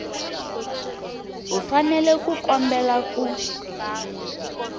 u fanele ku kombela ku